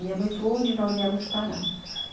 Minha mãe falou onde nós íamos parar.